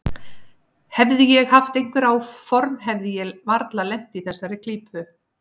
Hefði ég haft einhver áform hefði ég varla lent í þessari klípu.